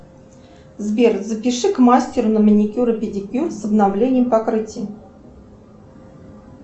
сбер запиши к мастеру на маникюр и педикюр с обновлением покрытия